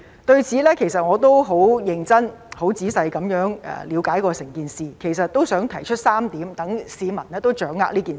對此，其實我也十分認真和仔細了解整件事，並想提出3點讓市民掌握這件事。